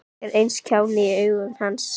Ég var eins og kjáni í augum hans.